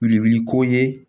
Wilili ko ye